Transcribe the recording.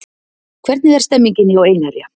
Hvernig er stemningin hjá Einherja?